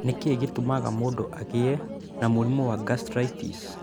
Nĩ kĩĩ gĩtũmaga mũndũ agĩe na mũrimũ wa gastritis?